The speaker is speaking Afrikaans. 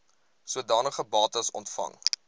sodanige bates ontvang